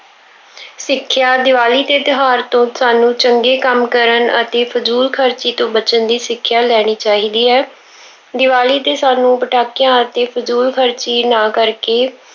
ਸਿੱਖਿਆ- ਦੀਵਾਲੀ ਦੇ ਤਿਉਹਾਰ ਤੋਂ ਸਾਨੂੰ ਚੰਗੇ ਕੰਮ ਕਰਨ ਅਤੇ ਫਜ਼ੂਲ ਖਰਚੀ ਤੋਂ ਬਚਣ ਦੀ ਸਿੱਖਿਆ ਲੈਣੀ ਚਾਹੀਦੀ ਹੈ। ਦੀਵਾਲੀ ਤੇ ਸਾਨੂੰ ਪਟਾਕਿਆਂ ਅਤੇ ਫਜ਼ੂਲ ਖਰਚੀ ਨਾ ਕਰਕੇ